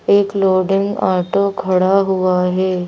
एक loading auto खड़ा हुआ है।